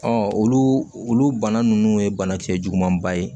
olu olu bana ninnu ye banakisɛ juguman ba ye